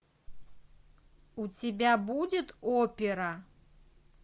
у тебя будет опера